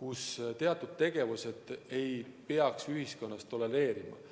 kus teatud tegevusi ei peaks enam tolereerima.